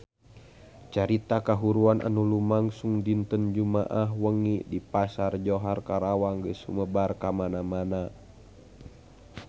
Carita kahuruan anu lumangsung dinten Jumaah wengi di Pasar Johar Karawang geus sumebar kamana-mana